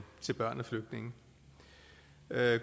børn af flygtninge